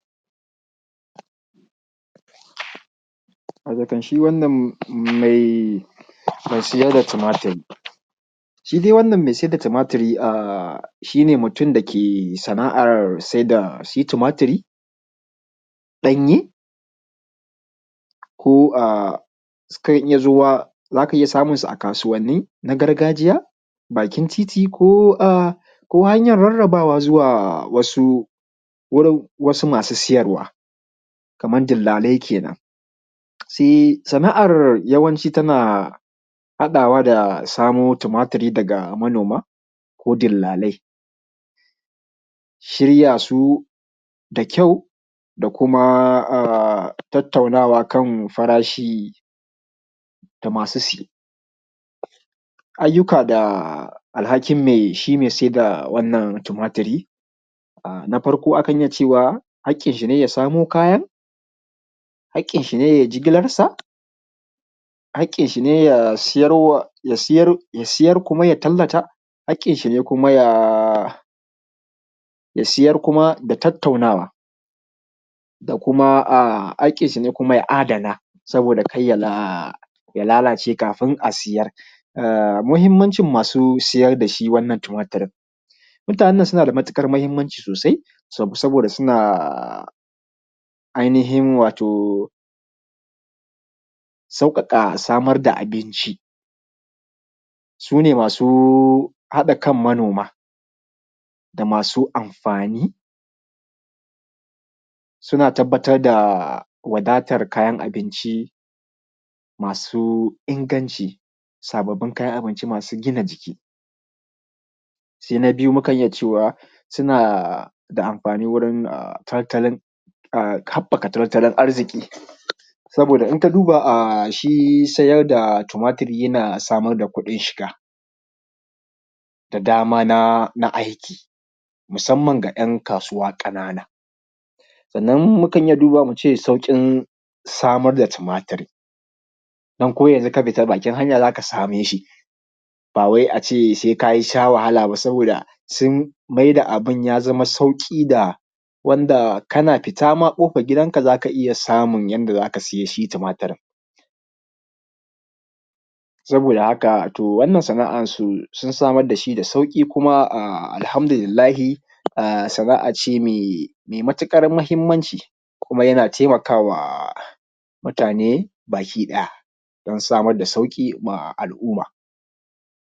Watakan shi wnanan mai siyar da tumaturi, shi dai wannan mai sayar da tumaturi shi ne mutum da ke sana’ar saida shi tumatiri ɗanye ko a sukan iya zuwa za ka iya samunsu a kasuwanni na gargajiya, bakin titi ko a hanyar rarrabawa zuwa wasu masu siyarwa kamar dillalai kenan. Sana’an yawanci tana haɗawa da samo tumatiri daga manoma ko dillalai shirya su da kyau da kuma a tattaunawa kan farashi da masu siye. Ayyuka da alhakin shi mai siyar da wannan tumaturi na farko akan iya cewa haƙƙinshi ne ya samo kayan, haƙƙin shi ne yai jigilansa, haƙƙinshi ne ya siyar, ya siyar kuma ya tallata. Haƙƙinshi ne kuma ya siyar da tattaunawa da kuma a haƙƙinshi ne kuma ya adana sabida kar ya lalace kafun a siya. Muhimmancin masu siyar da shi wannan tumaturin, mutanen nan suna da matuƙar mahimmanci sosai sabida suna ainihin wato sauƙaƙa samar da abinci, su ne masu haɗa kan manoma da masu amfani, suna tabbatar da wadatar kayan abinci masu inganci, sababbin kayan abinci masu gina jiki. Sai na biyu mu kan iya cewa suna da amfanin wurin habbaƙa tattalin arziki saboda in ka duba shi sayar da tumaturi yana samar da kuɗin shiga da dama na aiki musamman ga ‘yan kasuwa ƙanana. Sannann mukan iya dubawa mu ce sauƙin samar da tumaturi dan ko yanzun ka fita bakin hanya za ka same shi ba wai a ce sai ka sha wahala ba, saboda sun maida abun ya zama sauƙi ga wanda kana fita ma kofar gidanka za ka iya samun yanda zaka sai shi tumaturin saboda haka to wannan sana’ar sun samar da shi da sauƙi kuma alhamdulillahi sana’a ce mai matuƙar mahimmanci kuma yana taimakawa mutane bakiɗaya dan samar da sauƙi ma al’umma.